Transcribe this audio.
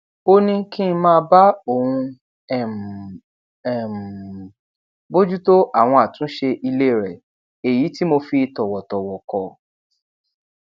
ó ní kí n máa bá òun um um bójútó àwọn àtúnṣe ilé rẹ èyí tí mo fi tòwòtòwò kọ